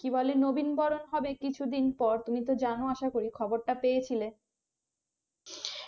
কি বলে নবীন বরন হবে কিছু দিন পর তুমি তো জানো আসাকরি খবর টা পেয়েছিলে